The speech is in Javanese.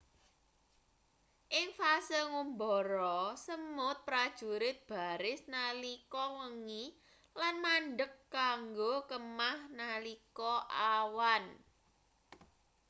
ing fase ngumbara semut prajurit baris nalika wengi lan mandheg kanggo kemah nalika awan